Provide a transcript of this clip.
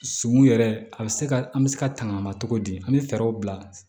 Sun yɛrɛ a bɛ se ka an bɛ se ka tanga ma cogo di an bɛ fɛɛrɛw bila